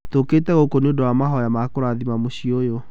Tũkĩte gũkũ nĩ ũndũ wa mahoya ma kũrathima mũciĩ ũyũ.